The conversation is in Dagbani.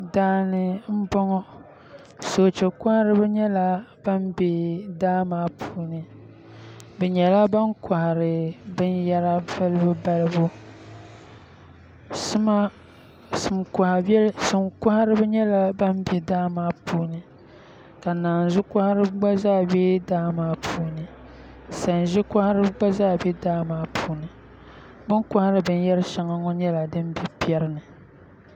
Daani n bɔŋɔ soochɛ kɔhiriba yɛla ban bɛ daa maa puuni bi yɛla3 ban kɔhiri bini yahira balibu balibu din kɔhiriba yɛla ban bɛ daa maa puuni ka nanzuu kɔhiriba gba yɛ ban bɛ daa maa puuni sanzi kɔhiriba gba zaa bɛ daa maa puuni bini kɔhiri bini yari shɛŋa ŋɔ yɛla din bɛ pɛri ni.